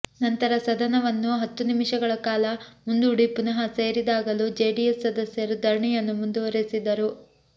ನಂತರ ಸದನವನ್ನು ಹತ್ತು ನಿಮಿಷಗಳ ಕಾಲ ಮುಂದೂಡಿ ಪುನಃ ಸೇರಿದಾಗಲೂ ಜೆಡಿಎಸ್ ಸದಸ್ಯರು ಧರಣಿಯನ್ನು ಮುಂದುವರೆಸಿದರು